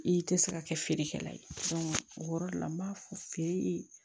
I tɛ se ka kɛ feerekɛla ye o yɔrɔ la n b'a fɔ feere